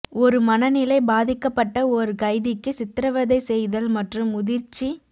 ஒரு மனநிலை பாதிக்கப்பட்ட ஒரு கைதிக்கு சித்திரவதை செய்தல் மற்றும் முதிர்ச்சி